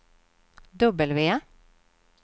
W